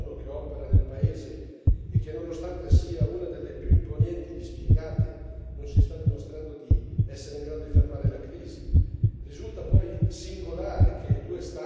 Bisogna dire che c'è una inadeguatezza della missione ONU che opera nel paese e che, nonostante sia una delle più imponenti dispiegate, non si sta dimostrando di essere in grado di fermare la crisi.